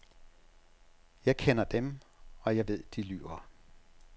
Jeg kender dem, og jeg ved, de lyver.